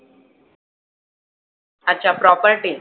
अच्छा. Property